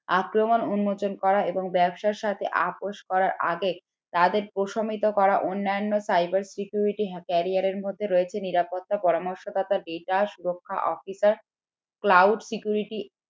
আক্রমণ উন্মোচন করা এবং ব্যবসার সাথে আপোষ করার আগে তাদের প্রশমিত করা অন্যান্য cyber security career এরমধ্যে রয়েছে নিরাপত্তা পরামর্শদাতা data সুরাক্ষা officer